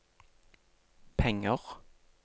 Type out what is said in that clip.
penger